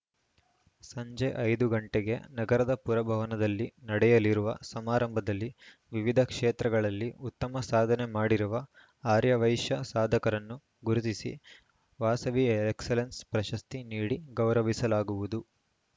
ಸಂಜೆ ಐದು ಗಂಟೆಗೆ ನಗರದ ಪುರಭವನದಲ್ಲಿ ನಡೆಯಲಿರುವ ಸಮಾರಂಭದಲ್ಲಿ ವಿವಿಧ ಕ್ಷೇತ್ರಗಳಲ್ಲಿ ಉತ್ತಮ ಸಾಧನೆ ಮಾಡಿರುವ ಆರ್ಯವೈಶ್ಯ ಸಾಧಕರನ್ನು ಗುರುತಿಸಿ ವಾಸವಿ ಎಕ್ಸಲೆನ್ಸ್‌ ಪ್ರಶಸ್ತಿ ನೀಡಿ ಗೌರವಿಸಲಾಗುವುದು